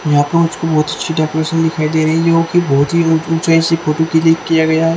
यहां पर कुछ छ बहोत ही अच्छी डेकोरेशन दिखाई दे रही है यहह कि बहुत ही ऊंचाई से फोटो क्लिक किआ गया है ।